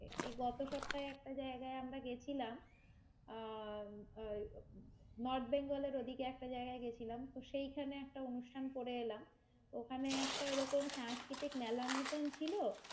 এই গত সপ্তায় একটা জায়গায় আমরা গেছিলাম, আহ ওই নর্থ বেঙ্গলের ওদিকে একটা জায়গায় গেছিলাম, তো সেইখানে একটা অনুষ্ঠান করে এলাম, ওখানে একটা এরকম সাংস্কৃতিক মেলার মতন ছিল,